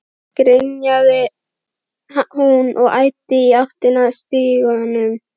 grenjaði hún og æddi í áttina að stiganum.